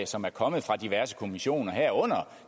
som er kommet fra diverse kommissioner herunder